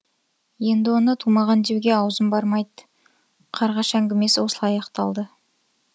енді оны тумаған деуге аузым бармайды қарғаш әңгімесі осылай аяқталды